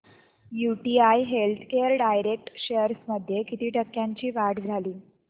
UTI healthcare direct shares मध्ये किती टक्क्यांची वाढ झाली